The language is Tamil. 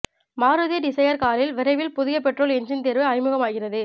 மாருதி டிசையர் காரில் விரைவில் புதிய பெட்ரோல் எஞ்சின் தேர்வு அறிமுகமாகிறது